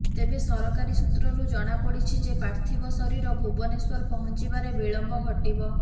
ତେବେ ସରକାରୀ ସୂତ୍ରରୁ ଜଣାପଡ଼ିଛି ଯେ ପାର୍ଥିବ ଶରୀର ଭୁବନେଶ୍ୱର ପହଞ୍ଚିବାରେ ବିଳମ୍ବ ଘଟିବ